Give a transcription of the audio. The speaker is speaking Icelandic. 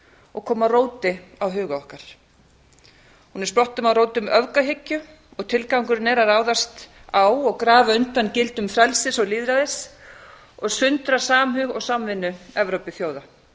og koma róti á huga okkar við stoppum á rótum öfgahyggju og tilgangurinn er að ráðast á og grafa undan gildum frelsis og lýðræðis og sundra samhug og samvinnu evrópuþjóða